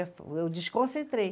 Eu desconcentrei.